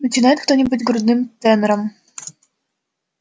начинает кто-нибудь грудным тенором